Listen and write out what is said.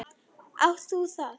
Átt þú það?